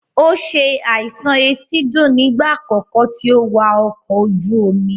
Ó se àìsàn etídò nígbà àkọ́kọ́ tí ó wà ọkọ̀ ojú omi.